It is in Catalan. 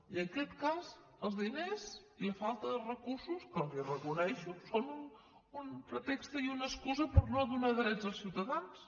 i en aquest cas els diners i la falta de recursos que els reconec són un pretext i una excusa per no donar drets als ciutadans